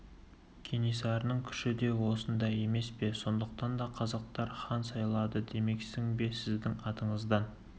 кенесарының күші де осында емес пе сондықтан да оны қазақтар хан сайлады демексің бе сіздің атыңыздан